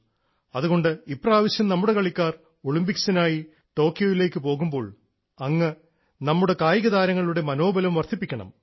അതുകൊണ്ട് ഇപ്രാവശ്യം നമ്മുടെ കളിക്കാർ ഒളിമ്പിക്സിനായി ടോക്കിയോയിലേക്ക് പോകുമ്പോൾ അങ്ങ് നമ്മുടെ കായികതാരങ്ങളുടെ മനോബലം വർദ്ധിപ്പിക്കണം